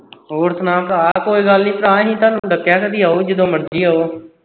ਹੋਰ ਸੁਣਾ ਭਰਾ ਕੋਈ ਗੱਲ ਨੀਂ ਭਰਾ ਅਸੀ ਤੁਹਾਨੂੰ ਦੱਸਿਆ ਕਦੀ ਆਓ ਜਦੋਂ ਮਰਜੀ ਆਓ